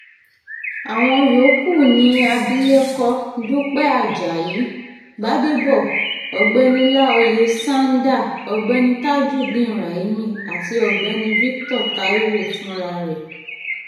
àwọn yòókù ni abilékọ dúpẹ́ ajayi-gbàdébọ̀ ọ̀gbẹ́ni láóyè sándà ọ̀gbẹ́ni tajudeen raimi àti ọ̀gbẹ́ni victor taiwò fúnra rẹ̀